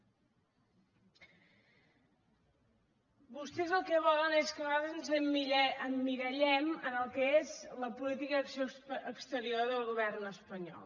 vostès el que volen és que nosaltres ens emmirallem en el que és la política d’acció exterior del govern espanyol